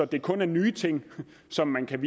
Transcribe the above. det kun er nye ting som man kan